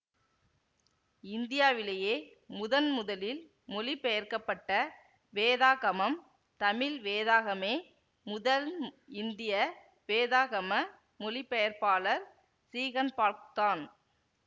இந்தியாவிலேயே முதன் முதலில் மொழிபெயர்க்கப்பட்ட வேதாகமம் தமிழ் வேதாகமே முதல் இந்திய வேதாகம மொழிபெயர்ப்பாளர் சீகன்பால்க்தான்